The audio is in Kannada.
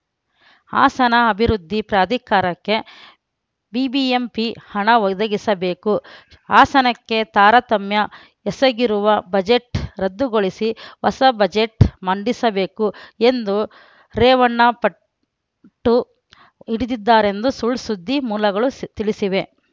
ಹಾಸನ ಅಭಿವೃದ್ಧಿ ಪ್ರಾಧಿಕಾರಕ್ಕೆ ಬಿಬಿಎಂಪಿ ಹಣ ಒದಗಿಸಬೇಕು ಹಾಸನಕ್ಕೆ ತಾರತಮ್ಯ ಎಸಗಿರುವ ಬಜೆಟ್‌ ರದ್ದುಗೊಳಿಸಿ ಹೊಸ ಬಜೆಟ್‌ ಮಂಡಿಸಬೇಕು ಎಂದು ರೇವಣ್ಣ ಪಟ್ಟು ಹಿಡಿದಿದ್ದಾರೆಂದು ಸುಳ್‌ಸುದ್ದಿ ಮೂಲಗಳು ಸ್ ತಿಳಿಸಿವೆ